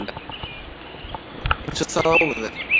Eins og það á að vera